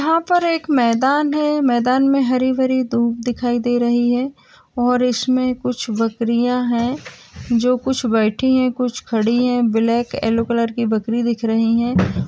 यहाँ पर एक मैदान है मैदान में हरी-भरी दूब दिखाई दे रही है और इसमें कुछ बकरियाँ हैं जो कुछ बैठी हैं कुछ खड़ी हैं ब्लैक येलो कलर की बकरी दिख रही हैं।